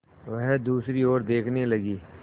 वह दूसरी ओर देखने लगी